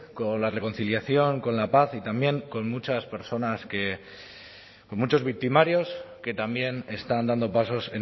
con la reconciliación con la paz y también con muchas personas con muchos victimarios que también están dando pasos